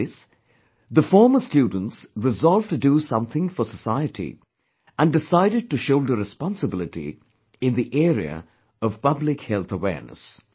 Under this, the former students resolved to do something for society and decided to shoulder responsibility in the area of Public Health Awareness